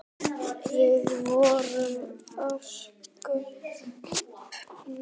Við vorum ósköp þægir.